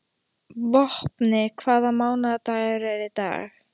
Vopni, hvaða mánaðardagur er í dag?